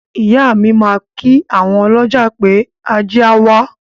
Ìyá mi máa kí àwon ọlọ́jà pé, “ajé á wá”.